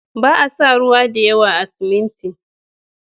Ba a sa ruwa da yawa a siminti.